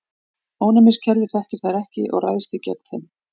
Ónæmiskerfið þekkir þær ekki og ræðst því gegn þeim.